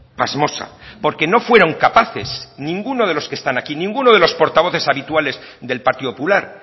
pasmosa porque no fueron capaces ninguno de los que están aquí ninguno de los portavoces habituales del partido popular